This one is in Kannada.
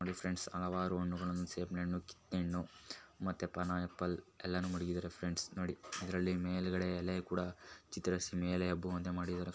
ನೋಡಿ ಫ್ರೆಂಡ್ಸ್ ಹಲವಾರು ಹಣ್ಣುಗಳನ್ನು ಸೇಬಿನ ಹಣ್ಣು ಕಿತ್ತಳೆ ಹಣ್ಣು ಮತ್ತೆ ಪೈನ್ಆಪಲ್ ಎಲ್ಲಾನು ಮಡ್ಗಿದಾರೆ ಫ್ರೆಂಡ್ಸ್ ನೋಡಿ ಅದರಲ್ಲಿ ಮೇಲೆಗಡೆ ಎಲೆ ಕೂಡ ಚಿತ್ರಿಸಿ ಮೇಲೆ ಹಬ್ಬುವಂತೆ ಮಾಡಿದರೆ ಫ್ರೆಂಡ್ಸ್.